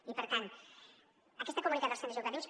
i per tant aquest comunicat als centres educatius